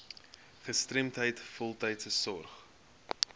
gestremdheid voltydse sorg